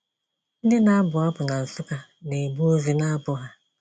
Ndị na-abụ abụ na Nsukka na-ebu ozi na abụ ha.